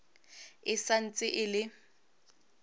e sa ntse e le